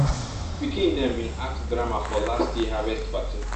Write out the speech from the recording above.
pikin dem bin act drama for last year harvest party